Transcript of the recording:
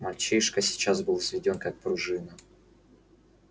мальчишка сейчас был взведён как пружина